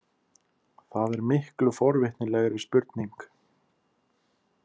Það er miklu forvitnilegri spurning.